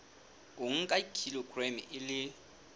o nka kilograma e le